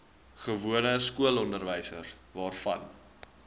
gewone skoolonderwys waarvan